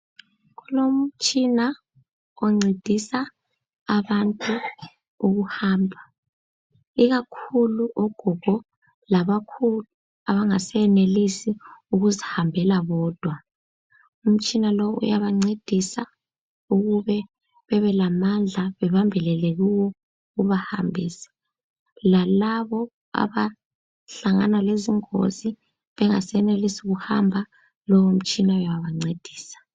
Kulomtshina oncedisa abantu ukuhamba ikakhulu ogogo labokhulu abangasenelisi ukuzihambela bodwa, umtshina lowu uyabancedisa ukube bebelamandla babambelele kuwo ubahambise, lalabo abahlangana lezingozi bengasenelisi kuhamba lowu umtshina uyabancedisa